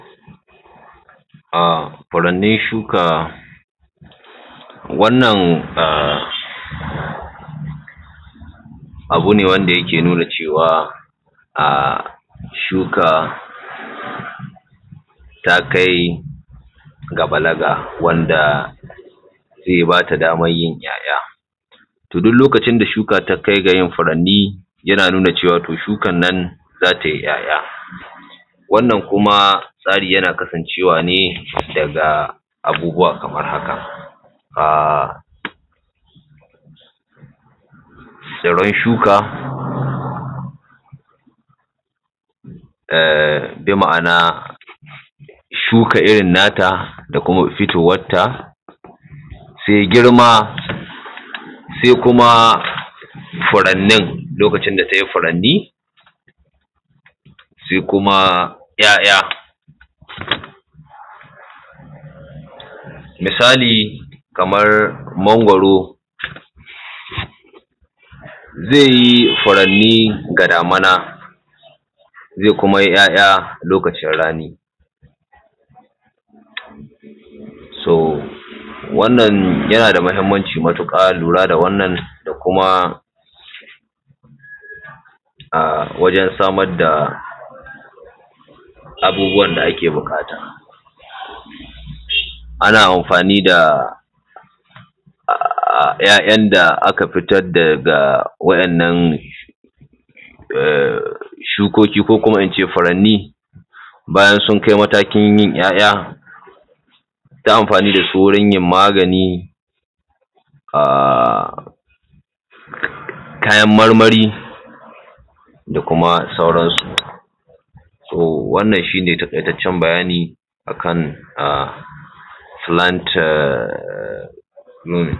Furanni shuka wannan abu ne wanda yake nuna cewa a shuka da takai ga balaga wanda ke ba ta daman yin 'ya'ya. To duk lokacin da shuka ta kai ga yin furanni yana nuna cewa to shukan nan za tai ‘ya'ya. Wannan kuma tsari yana kasancewa ne daga abubuwa kamar haka. Tsirran shuka, bi ma'ana shuka irin na ta da kuma fitowar ta, sai girma, sai kuma furannin lokacin da ta yi furanni, sai kuma 'ya'ya, misali kamar mangwaro zai yi furanni ga damuna, zai kuma yi ‘ya'ya lokacin rani. To wannan yana da muhimmanci matuƙa lura da wannan da kuma wajan samar da abubuwa da ake buƙata. Ana amfani da 'ya'yan da aka fitar daga wa'innan shukoki ko kuma in ce furanni bayan sun kai matakin yin ‘ya'ya don amfani da su wurin yin magani, kayan marmari da kuma sauran su. To wannan shi ne taƙaitaccen bayani akan fulanta.